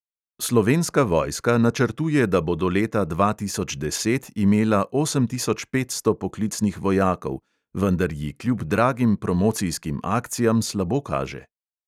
Slovenska vojska načrtuje, da bo do leta dva tisoč deset imela osem tisoč petsto poklicnih vojakov, vendar ji kljub dragim promocijskim akcijam slabo kaže.